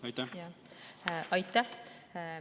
Aitäh!